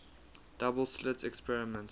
double slit experiment